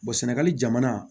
sɛnɛgali jamana